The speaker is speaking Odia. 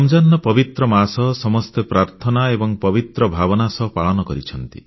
ରମଜାନର ପବିତ୍ର ମାସ ସମସ୍ତେ ପ୍ରାର୍ଥନା ଏବଂ ପବିତ୍ର ଭାବନା ସହ ପାଳନ କରିଛନ୍ତି